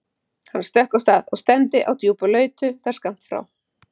Hann stökk af stað og stefndi á djúpa lautu þar skammt frá.